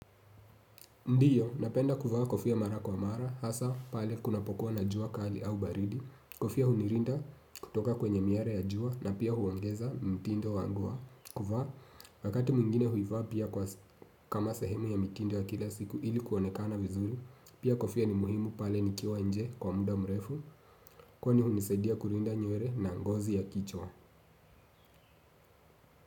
Ndiyo, napenda kuvaa kofia mara kwa mara, hasa pale kunapokuwa na jua kali au baridi, kofia hunilinda kutoka kwenye miale ya jua na pia huongeza mtindo wangu wa kuvaa, wakati mwingine huivaa pia kama sehemu ya mitindo ya kila siku ili kuonekana vizuri, pia kofia ni muhimu pale nikiwa nje kwa muda mrefu, kwani hunisaidia kulinda nywele na ngozi ya kichwa.